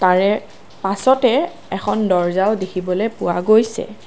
তাৰে পাছতে এখন দৰ্জাও দেখিবলৈ পোৱা গৈছে।